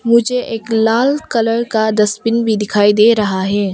मुझे एक लाल कलर का डसबिन भी दिखाई दे रहा है।